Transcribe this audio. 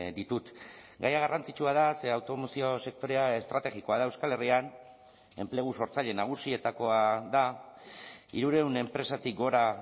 ditut gaia garrantzitsua da ze automozio sektorea estrategikoa da euskal herrian enplegu sortzaile nagusietakoa da hirurehun enpresatik gora